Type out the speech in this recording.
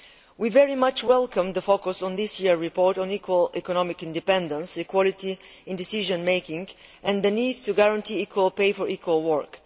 We very much welcome the focus in this year's report on equal economic independence, equality in decision making and the need to guarantee equal pay for equal work.